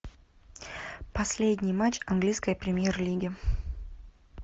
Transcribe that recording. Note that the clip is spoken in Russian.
последний матч английской премьер лиги